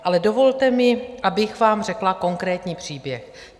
Ale dovolte mi, abych vám řekla konkrétní příběh.